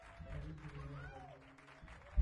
родители легкого поведения